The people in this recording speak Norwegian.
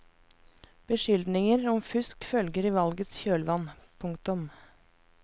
Beskyldninger om fusk følger i valgets kjølvann. punktum